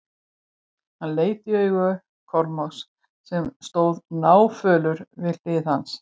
Hann leit í augu Kormáks sem stóð náfölur við hlið hans.